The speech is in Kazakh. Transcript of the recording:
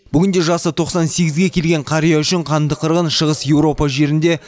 бүгінде жасы тоқсан сегізге келген қария үшін қанды қырғын шығыс еуропа жерінде